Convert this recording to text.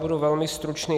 Budu velmi stručný.